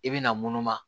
I bɛna munumunu a